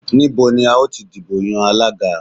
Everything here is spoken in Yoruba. Níbo ni a ó ti dìbò yan Alága?